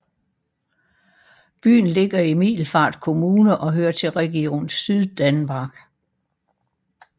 Byen ligger i Middelfart Kommune og hører til Region Syddanmark